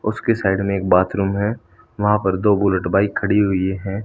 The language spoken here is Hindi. उसके साइड में एक बाथरूम है वहां पर दो बुलट बाइक खड़ी हुई है।